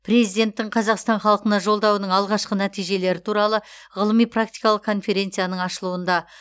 президенттің қазақстан халқына жолдауының алғашқы нәтижелері туралы ғылыми практикалық конференцияның ашылуында